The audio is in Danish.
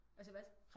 Altså hvad?